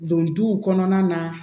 Don duw kɔnɔna na